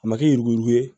A ma kɛ yurugu yurugu ye